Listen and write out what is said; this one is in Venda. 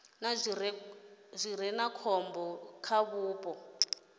zwi re khombo kha vhupo